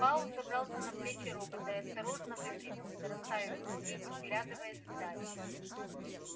пауэлл забрался на плечи робота и осторожно выпрямился расставив ноги и вглядываясь в даль